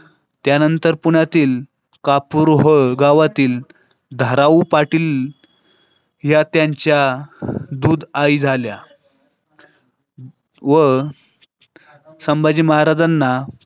त्यानंतर पुण्यातील कापूरहोळ गावातील धाराऊ पाटील. या त्यांच्या दूध आई झाल्या व संभाजी महाराजांना.